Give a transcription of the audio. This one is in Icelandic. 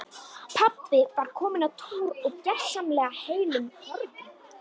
Pabbi var kominn á túr og gersamlega heillum horfinn.